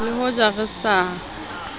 le ho ja re sa